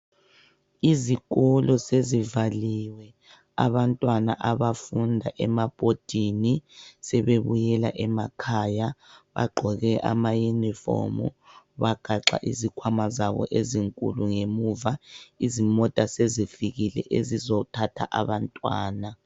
Izikolo sezivaliwe abantwana abafunda emabhodini sebebuyela emakhaya bagqoke ama "uniform" bagaxa izikhwama zabo ezinkulu ngemuva, izimota sezifikile ezizothatha abantwana.